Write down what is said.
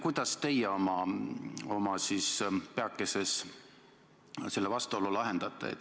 Kuidas teie oma peakeses selle vastuolu lahendate?